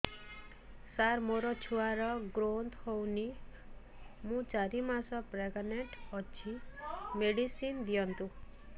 ସାର ମୋର ଛୁଆ ର ଗ୍ରୋଥ ହଉନି ମୁ ଚାରି ମାସ ପ୍ରେଗନାଂଟ ଅଛି ମେଡିସିନ ଦିଅନ୍ତୁ